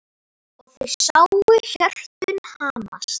Og þau sáu hjörtun hamast.